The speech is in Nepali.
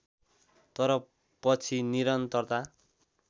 तर पछि निरन्तरता